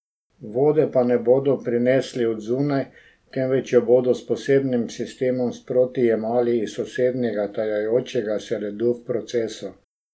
Vode pa ne bodo prinesli od zunaj, temveč jo bodo s posebnim sistemom sproti jemali iz sosednjega, tajajočega se ledu v procesu.